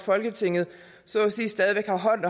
folketinget så at sige stadig væk har hånd